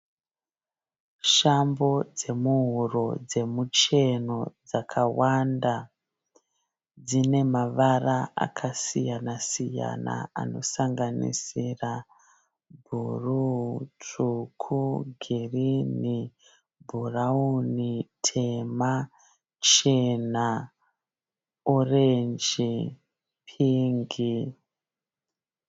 Shambo dzemuhuro dzemucheno dzakawanda. Dzinemavara akasiyana-siyana anosanganisira bhuruu, tsvuku, girini, bhurauni, tema, chena orenji, pingi.